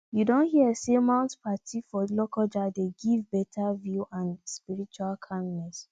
you don hear sey mount patti for lokoja dey give beta view and spiritual calmness